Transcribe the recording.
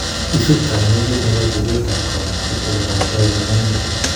Isup kanyaiset nebo keret ap kapuset olemwaitooi kanyaindet